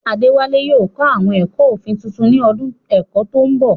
Adewale yóò kọ́ àwọn ẹ̀kọ́ òfin tuntun ní ọdún ẹ̀kọ́ tó ń bọ̀.